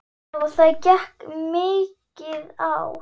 Já það gekk mikið á.